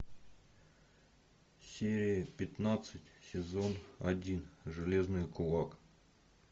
серия пятнадцать сезон один железный кулак